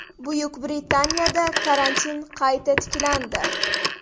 Buyuk Britaniyada karantin qayta tiklandi.